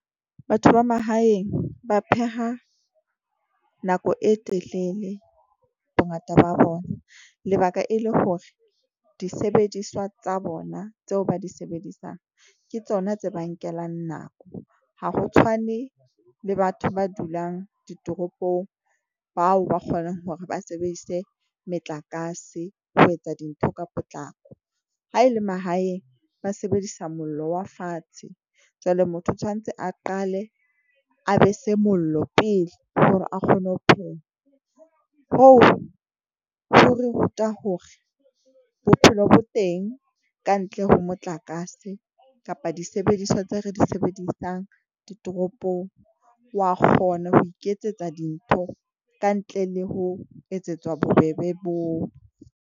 Batho ba mahaeng ba pheha nako e telele bongata ba bona. Lebaka e le hore disebediswa tsa bona tseo ba di sebedisang ke tsona tse ba nkelang nako. Ha ho tshwane le batho ba dulang ditoropong, bao ba kgona hore ba sebedise metlakase ho etsa dintho ka potlako. Ha ele mahaeng ba sebedisa mollo wa fatshe. Jwale motho o tshwantse a qale a be se mollo pele hore a kgone ho pheha. Hoo ho re ruta hore bophelo bo teng kantle ho motlakase kapa disebediswa tse re di sebedisang ditoropong. Wa kgona ho iketsetsa dintho ka ntle le ho etsetswa bobebe boo.